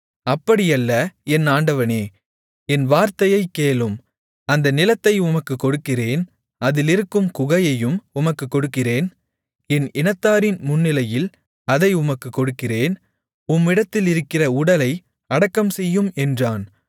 அப்படியல்ல என் ஆண்டவனே என் வார்த்தையைக் கேளும் அந்த நிலத்தை உமக்குக் கொடுக்கிறேன் அதிலிருக்கும் குகையையும் உமக்குக் கொடுக்கிறேன் என் இனத்தாரின் முன்னிலையில் அதை உமக்குக் கொடுக்கிறேன் உம்மிடத்திலிருக்கிற உடலை அடக்கம் செய்யும் என்றான்